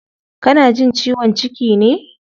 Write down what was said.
Kana jin ciwon ciki ne?